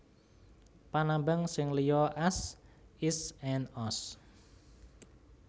Panambang sing liya az is and oz